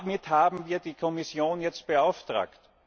Damit haben wir die Kommission jetzt beauftragt.